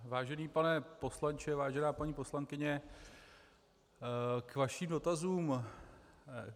Vážený pane poslanče, vážená paní poslankyně, k vašim dotazům.